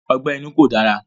Ọgbẹ́ inú kò dára.